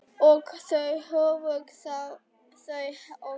Og þá höfðu þau hlegið.